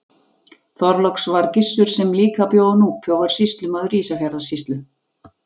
Þorláks var Gissur sem líka bjó á Núpi og var sýslumaður Ísafjarðarsýslu.